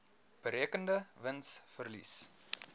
berekende wins verlies